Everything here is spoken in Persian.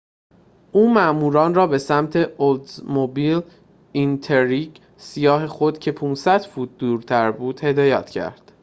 او ماموران را به سمت اولدزموبیل اینتریگ سیاه خود که ۵۰۰ فوت دورتر بود هدایت کرد